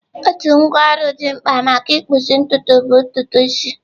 Otu ngwá ọrụ dị mkpa maka ịkpụzi ntutu bụ ntutu isi.